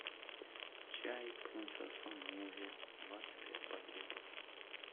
чай принцесса нури двадцать пять пакетов